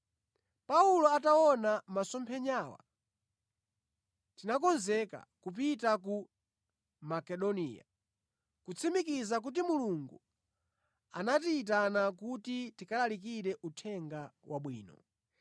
Paulo ataona masomphenyawa, tinakonzeka kupita ku Makedoniya, kutsimikiza kuti Mulungu anatiyitana kuti tikalalikire Uthenga Wabwino.